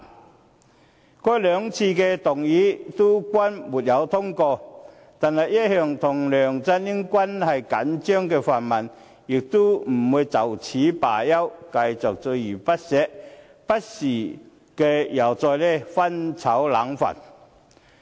然而，該兩項議案均不獲通過，但一向與梁振英關係緊張的泛民不會就此罷休，繼續鍥而不捨，不時又再"翻炒冷飯"。